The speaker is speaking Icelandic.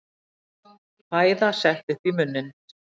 Fæða sett upp í munninn.